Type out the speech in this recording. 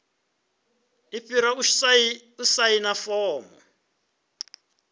i fhira u saina fomo